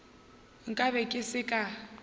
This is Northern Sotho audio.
nka be ke se ka